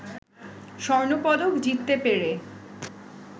স্বর্ণপদক জিততে পেরে